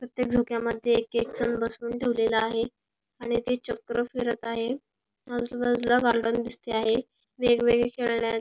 तीथे झोक्या मध्ये एक एक जन बसून ठेवलेल आहे आणि ते चक्र फिरत आहे आजूबाजूला गार्डन दिसते आहे वेगवेगळ्या खेळण्या --